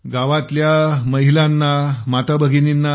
गावातल्या महिलांनाआपल्या माता भगिनींचा